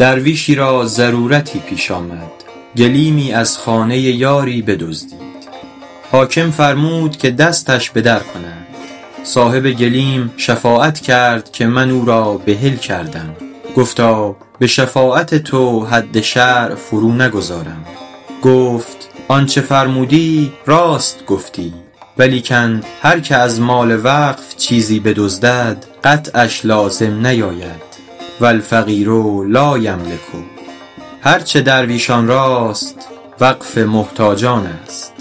درویشی را ضرورتی پیش آمد گلیمی از خانه یاری بدزدید حاکم فرمود که دستش بدر کنند صاحب گلیم شفاعت کرد که من او را بحل کردم گفتا به شفاعت تو حد شرع فرو نگذارم گفت آنچه فرمودی راست گفتی ولیکن هر که از مال وقف چیزی بدزدد قطعش لازم نیاید و الفقیر لایملک هر چه درویشان راست وقف محتاجان است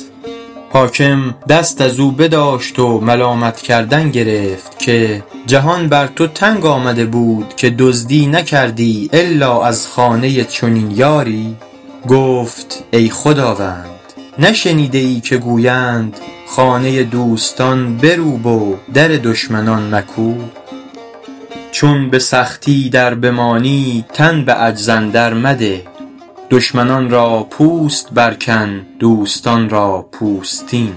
حاکم دست از او بداشت و ملامت کردن گرفت که جهان بر تو تنگ آمده بود که دزدی نکردی الا از خانه چنین یاری گفت ای خداوند نشنیده ای که گویند خانه دوستان بروب و در دشمنان مکوب چون به سختی در بمانی تن به عجز اندر مده دشمنان را پوست بر کن دوستان را پوستین